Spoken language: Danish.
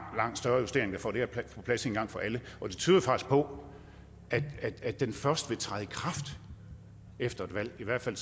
større justering og får det her på plads en gang for alle og det tyder faktisk på at det først vil træde i kraft efter et valg i hvert fald